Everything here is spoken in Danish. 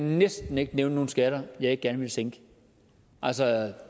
næsten ikke nævne nogen skatter jeg ikke gerne ville sænke altså